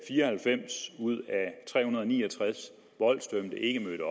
fire og halvfems ud af tre hundrede og ni og tres voldsdømte ikke mødte